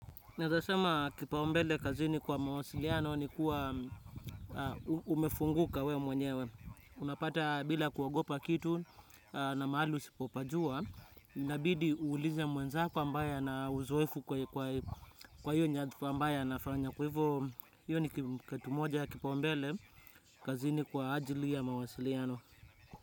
Naezasema kipaumbele kazini kwa mawasiliano ni kuwa umefunguka we mwenyewe. Unapata bila kuogopa kitu na mahali usipopajua, inabidi uulize mwenzako ambaye ana uzoefu kwa hiyo nyathfa ambayo ana fanya. Kwa hivo hiyo ni kitu moja ya kipaumbele kazini kwa ajili ya mawasiliano.